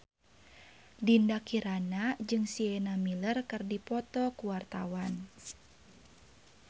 Dinda Kirana jeung Sienna Miller keur dipoto ku wartawan